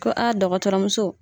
Ko a dɔgɔtɔrɔmuso.